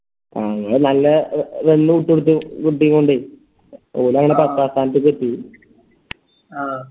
അഹ് ഇങ്ങള് നല്ല നല്ല വിട്ടോടുത്തു ഓലങ്ങനെ പത്താം സ്ഥാനത്തേക്കെത്തി